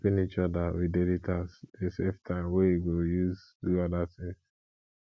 helping each other with daily task de save time wey you go use do other things